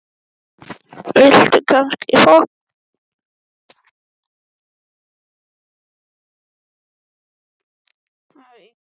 En getur Einar verið sammála því?